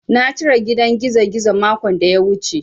Na cire gidan gizogizo makon da ya wuce.